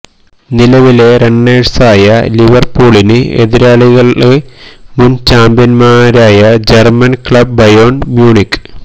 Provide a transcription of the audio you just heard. നിലവിലെ റണ്ണേഴ്സായ ലിവര്പൂളിന് എതിരാളികള് മുന് ചാമ്പ്യന്മാരായ ജര്മ്മന് ക്ലബ് ബയേണ് മ്യൂണിക്ക്